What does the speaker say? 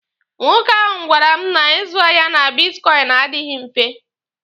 Nwoke ahụ gwara m na ịzụ ahịa na bitkọịnị adịghị mfe.